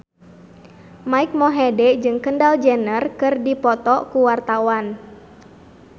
Mike Mohede jeung Kendall Jenner keur dipoto ku wartawan